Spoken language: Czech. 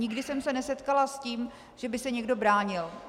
Nikdy jsem se nesetkala s tím, že by se někdo bránil.